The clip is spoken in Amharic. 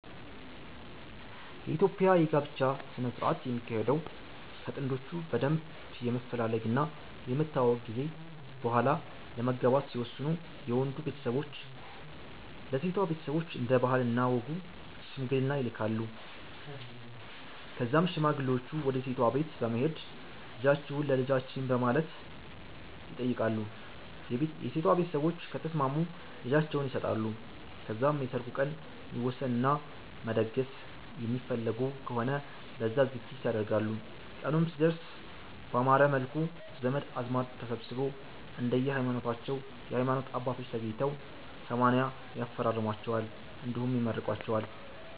የኢትዮጵያ የ ጋብቻ ስነ ስረአት የሚካሄደው ከ ጥንዶቹ በደንብ የመፈላለግ እና የመተዋወቅ ጊዜ በሆላ ለመጋባት ሲወስኑ የ ወንዱ ቤተሰቦች ለ ሴቷ ቤተሰቦች እንደ ባህል እና ወጉ ሽምግልና ይልካሉ ከዛም ሽማግሌወቹ ወደ ሴቷ ቤት በመሄድ ልጃቺሁን ለ ልጃቺን በማለት ይተይቃሉ የ ሴቷ ቤተሰቦች ከተስማሙ ልጃቸውን ይሰጣሉ ከዛም የ ሰርጉ ቀን ይወሰን እና መደገስ የሚፈልጉ ከሆነ ለዛ ዝግጅት ያደርጋሉ ቀኑም ሲደርስ ባማረ መልኩ ዘመድ አዝማድ ተሰብስቦ፣ እንደየ ሀይማኖታቸው የ ሀይማኖት አባቶች ተገኝተው 80 ያፈራርሟቸዋል እንዲሁም ይመርቋቸዋል